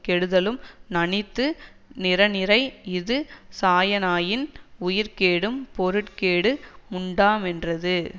கெடுதலும் நணித்து நிரனிறை இது சாயானாயின் உயிர்க்கேடும் பொருட்கேடு முண்டாமென்றது